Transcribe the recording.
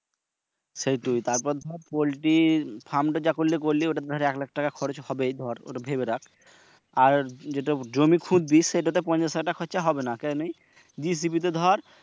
সেইট তারপর দর পল্টির ফার্মটা যা করার করলি ঐটার দর এক লাক্ষা টাকা খরচ হবে দর ঐটা ভেবে রাখ। আর যেটা জমি খুটবি সেটা তে পঞ্চাশ হাজার টাকা খরচা হবেনা। কেনে BCB তে দর